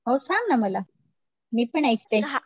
हो सांग ना मला, मी पण ऐकते